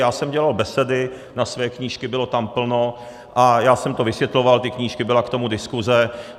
Já jsem dělal besedy na své knížky, bylo tam plno, a já jsem to vysvětloval, ty knížky, byla k tomu diskuze.